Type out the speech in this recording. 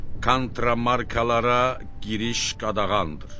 Kontramarkalara giriş qadağandır.